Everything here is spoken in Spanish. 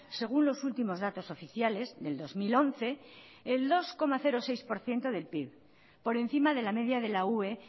según los últimos datos oficiales del dos mil once el dos coma seis por ciento del pib por encima de la media de la ue